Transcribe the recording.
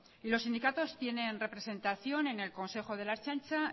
y los sindicatos tienen representación en el consejo de la ertzaintza